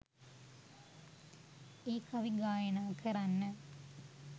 ඒ කවි ගායනා කරන්න